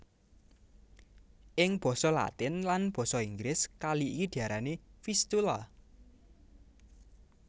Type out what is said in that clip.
Ing basa Latin lan basa Inggris kali iki diarani Vistula